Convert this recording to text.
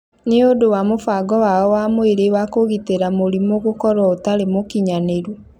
nĩ ũndũ wa mũbango wao wa mwĩrĩ wa kũgitĩra mĩrimũ gũkorwo ũtarĩ mũkinyanĩru.